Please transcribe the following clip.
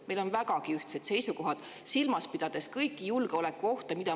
Meil on vägagi ühtsed seisukohad, silmas pidades kõiki julgeolekuohte.